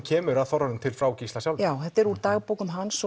kemur að þorranum til frá Gísla sjálfum þetta er úr dagbókum hans